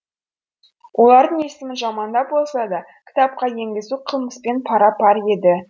олардың есімін жамандап болса да кітапқа енгізу қылмыспен пара пар еді